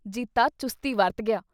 ਜੀਤਾ ਚੁਸਤੀ ਵਰਤ ਗਿਆ।